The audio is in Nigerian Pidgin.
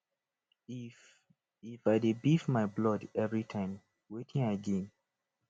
if if i dey beef my blood everytime wetin i gain